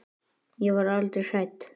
Ég var aldrei hrædd.